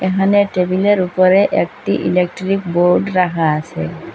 এহানে টেবিলের উপরে একটি ইলেকট্রিক বোর্ড রাখা আসে।